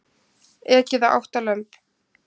Ekið á átta lömb